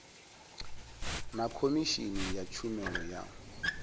na khomishini ya tshumelo ya